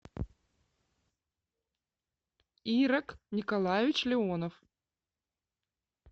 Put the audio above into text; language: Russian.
ирак николаевич леонов